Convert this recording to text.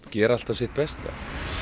gera alltaf sitt besta